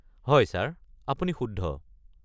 হয় ছাৰ, আপুনি শুদ্ধ।